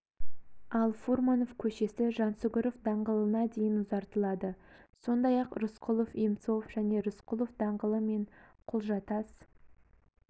ал фурманов көшесі жансүгіров даңғылына дейін ұзартылады сондай-ақ рысқұлов-емцов және рысқұлов даңғылы мен құлжа тас